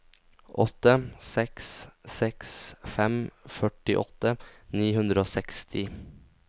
åtte seks seks fem førtiåtte ni hundre og seksti